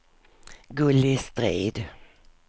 Gulli Strid